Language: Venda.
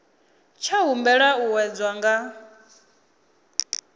tsha humbela u wedzwa nga